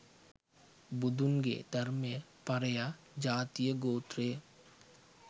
බුදුන්ගේ ධර්මය පරයා ජාතියගෝත්‍රය